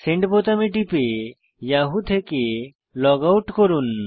send বোতামে টিপে Yahoo থেকে লগ আউট হন